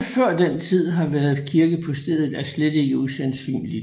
Om der også før den tid har været en kirke på stedet er slet ikke usandsynligt